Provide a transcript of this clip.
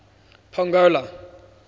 pongola